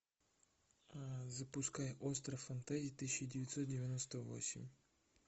запускай остров фантазий тысяча девятьсот девяносто восемь